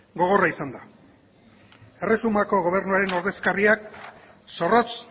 gogorra izan da erresumako gobernuaren ordezkariek zorrotz